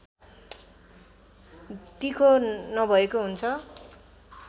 तिखो नभएको हुन्छ